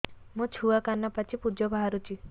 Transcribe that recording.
ମୋ ଛୁଆ କାନ ପାଚି ପୂଜ ବାହାରୁଚି